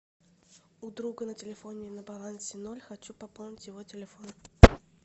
у друга на телефоне на балансе ноль хочу пополнить его телефон